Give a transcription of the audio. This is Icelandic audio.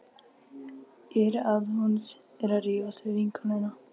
Ég heyri að hún er að rífast við vinnukonuna.